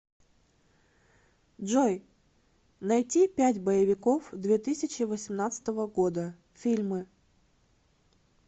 джой найти пять боевиков две тысячи восемнадцатого года фильмы